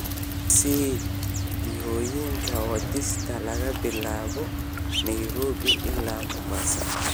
i sii jihooyinka wadista laga bilaabo nairobi ilaa mombasa